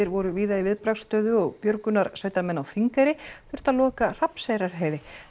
voru víða í viðbragðsstöðu og björgunarsveitarmenn á Þingeyri þurftu að loka Hrafnseyrarheiði